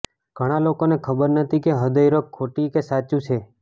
ઘણા લોકોને ખબર નથી કે હૃદયરોગ ખોટી કે સાચું છે